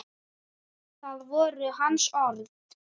Það voru hans orð.